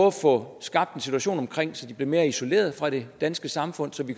at få skabt en situation så de blev mere isoleret fra det danske samfund så vi